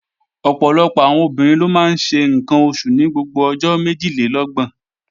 Ọ̀pọ̀lọpọ̀ àwọn obìnrin ló máa ń ṣe ǹkan oṣù ní gbogbo ọjọ́ méjìlélọ́gbọ̀n